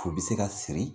U bɛ se ka siri